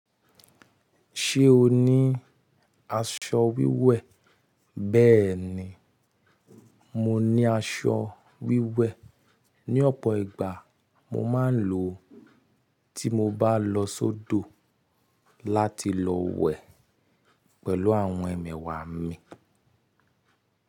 Ṣé o ní aṣọ wíwẹ̀? Bẹ́ẹ̀ni, mo ní aṣọ wíwẹ̀. Ni ọ̀pọ̀ ìgbà mo máa ń lò ó tí mo bá lọ sódò láti lọ wẹ̀ pẹ̀lú àwọn ẹmẹ̀wà mi.